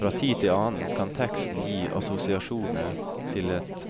Fra tid til annen kan teksten gi assosiasjoner til et